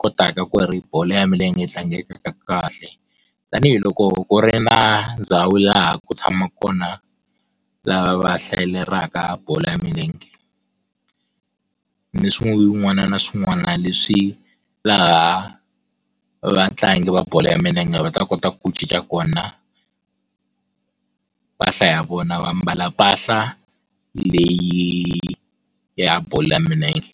kotaka ku ri bolo ya milenge yi tlangekaka kahle. Tanihi loko ku ri na ndhawu laha ya ku tshamaka kona lava va hlalelaka bolo ya milenge. Ni swin'wana na swin'wana leswi laha vatlangi va bolo ya milenge va ta kota ku cinca kona mpahla ya vona va mbala mpahla leyi ya bolo ya milenge.